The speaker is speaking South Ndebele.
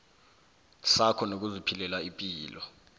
sakho nokuziphilela ipilo